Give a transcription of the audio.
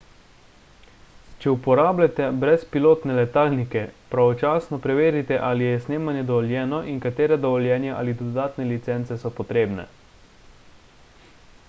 če uporabljate brezpilotne letalnike pravočasno preverite ali je snemanje dovoljeno in katera dovoljenja ali dodatne licence so potrebne